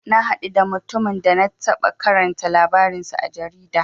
Na haɗu da mutumin da na taɓa karanta labarin sa a jarida.